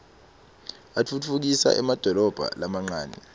atfutfukisa emadolobha lamancane